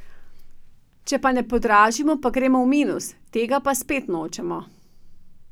Če pa ne podražimo, pa gremo v minus, tega pa spet nočemo.